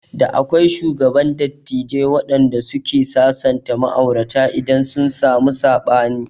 Da akwai shugaban dattijai wanɗanda suke sasanta ma'aurata idan sun samu saɓani